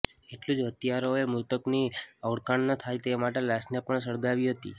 એટલું જ હત્યારાએ મૃતકની ઓળખ ના થાય તે માટે લાશને પણ સળગાવી હતી